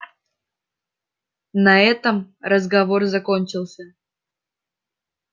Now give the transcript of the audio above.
на этом разговор закончился